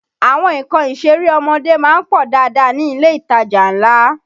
Àwọn nǹkan ìṣeré ọmọdé má ń pọ̀ dáadáa ní ilé ìtajà ńlá